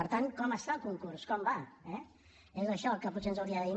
per tant com està el concurs com va eh és això el que potser ens hauria de dir